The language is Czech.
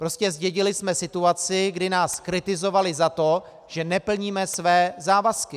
Prostě zdědili jsme situaci, kdy nás kritizovali za to, že neplníme své závazky.